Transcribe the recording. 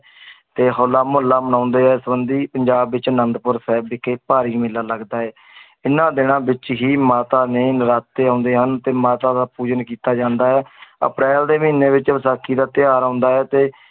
ਤੇ ਹੋਲਾ ਮਹੱਲਾ ਮਨਾਉਂਦੇ ਹੈ ਸੰਬੰਧੀ ਪੰਜਾਬ ਵਿੱਚ ਆਨੰਦਪੁਰ ਸਾਹਿਬ ਵਿਖੇ ਭਾਰੀ ਮੇਲਾ ਲੱਗਦਾ ਹੈ ਇਹਨਾਂ ਦਿਨਾਂ ਵਿੱਚ ਹੀ ਮਾਤਾ ਨੇ ਨਰਾਤੇ ਆਉਂਦੇ ਹਨ ਤੇ ਮਾਤਾ ਦਾ ਪੂਜਨ ਕੀਤਾ ਜਾਂਦਾ ਹੈ ਅਪ੍ਰੈਲ ਦੇ ਮਹੀਨੇ ਵਿੱਚ ਵਿਸਾਖੀ ਦਾ ਤਿਉਹਾਰ ਆਉਂਦਾ ਹੈ ਤੇ